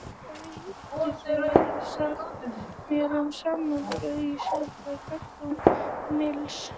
Hvað getið þið sagt mér um samanburð á siðfræði Kants og Mills?